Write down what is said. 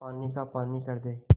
पानी का पानी कर दे